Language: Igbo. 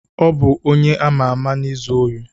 Ọ bụ onye ama ama na-ezu ori.